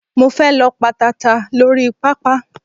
Mo fe lọ pa tata lórí pápá